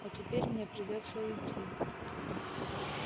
а теперь мне придётся уйти